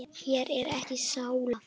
Hér er ekki sála.